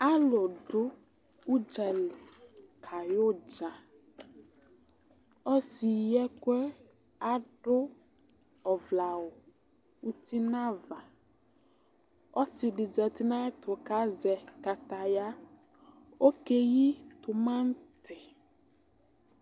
Alʋdʋ ʋdzali kayɛ ʋdza ɔsi yɩ ɛkʋɛ adʋ ɔvlɛ awʋ ʋti nnʋ ava ɔsidi zati nʋ ayʋ ɛtʋ kʋ azɛ kataya okɛyi tumati